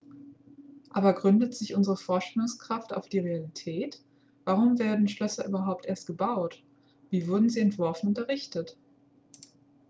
aber gründet sich unsere vorstellungskraft auf die realität warum wurden schlösser überhaupt erst gebaut wie wurden sie entworfen und errichtet